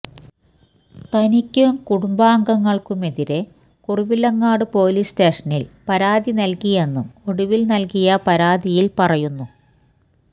തനിക്കും കുടുംബാംഗങ്ങള്ക്കുമെതിരെ കുറവിലങ്ങാട് പോലീസ് സ്റ്റേഷനില് പരാതി നല്കിയെന്നും ഒടുവില് നല്കിയ പരാതിയില് പറയുന്നു